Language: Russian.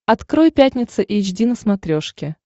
открой пятница эйч ди на смотрешке